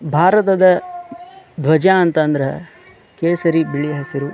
ಭಾರತದ ಧ್ವಜ ಅಂತ ಅಂದ್ರ ಕೇಸರಿ ಬಿಳಿ ಹಸಿರು .